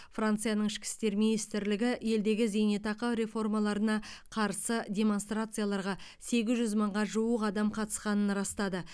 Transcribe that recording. францияның ішкі істер министрлігі елдегі зейнетақы реформаларына қарсы демонстрацияларға сегіз жүз мыңға жуық адам қатысқанын растады